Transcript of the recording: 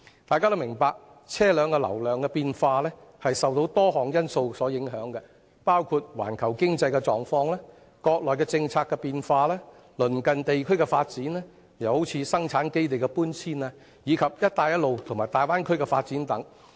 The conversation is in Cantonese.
大家均明白，車流量的高低受到多項因素影響，包括環球經濟狀況、國內的政策變化、鄰近地區的發展，例如生產基地的搬遷，以及"一帶一路"和大灣區的發展等。